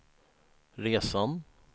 resan